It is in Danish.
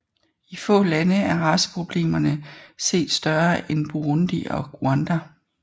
I få lande er raceproblemerne set større end Burundi og Rwanda